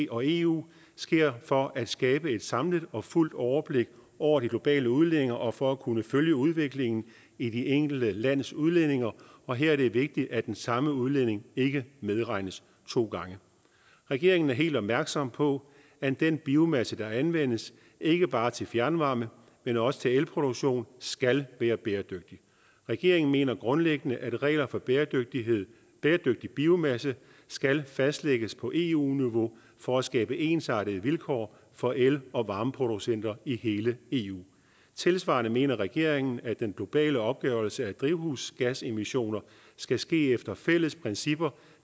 og eu sker for at skabe et samlet og fuldt overblik over de globale udledninger og for at kunne følge udviklingen i det enkelte lands udledninger og her er det vigtigt at den samme udledning ikke medregnes to gange regeringen er helt opmærksom på at den biomasse der anvendes ikke bare til fjernvarme men også til elproduktion skal være bæredygtig regeringen mener grundlæggende at regler for bæredygtig bæredygtig biomasse skal fastlægges på eu niveau for at skabe ensartede vilkår for el og varmeproducenter i hele eu tilsvarende mener regeringen at den globale opgørelse af drivhusgasemissioner skal ske efter fælles principper